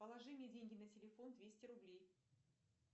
положи мне деньги на телефон двести рублей